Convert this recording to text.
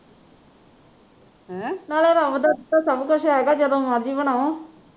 ਨਾਲੇ ਰੱਬ ਦਾ ਦਿੱਤਾ ਸਬ ਕੁਛ ਹੈਗਾ ਜਦੋਂ ਮਰਜੀ ਬਣਾਓ